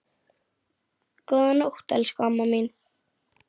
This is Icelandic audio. Góða nótt, elsku amma mín.